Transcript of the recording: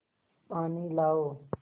पानी लाओ